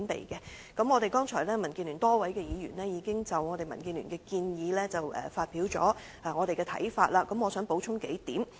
剛才民主建港協進聯盟多位議員已經就民建聯的建議發表一些想法，我想補充數點。